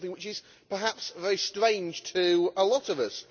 This is something which is perhaps very strange to a lot of us.